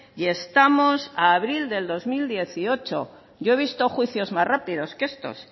y estamos a abril del dos mil dieciocho yo he visto juicios más rápidos que estos